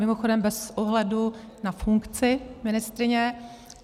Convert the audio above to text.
Mimochodem bez ohledu na funkci ministryně.